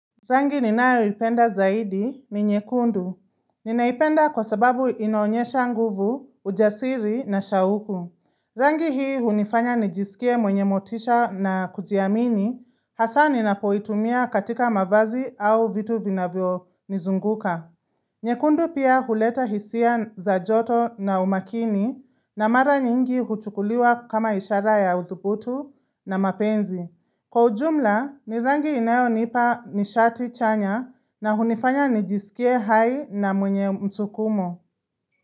Rangi ninayo ipenda zaidi ni nyekundu. Ninaipenda kwa sababu inaonyesha nguvu, ujasiri na shauku. Rangi hii hunifanya nijisikie mwenye motisha na kujiamini, hasa ninapoitumia katika mavazi au vitu vinavyo nizunguka. Nyekundu pia huleta hisia za joto na umakini, na mara nyingi huchukuliwa kama ishara ya udhubutu na mapenzi. Kwa ujumla, nirangi inayo nipa nishati chanya na hunifanya nijisikie hai na mwenye msukumo.